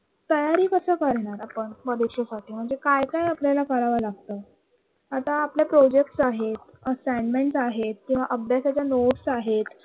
तयारी कस करणार आपण परीक्षेसाठी म्हणजे काय काय आपल्याला करावं लागतं आता आपला प्रोजेक्ट्स आहेत. assingments आहेत किंवा अभ्यासाच्या notes आहेत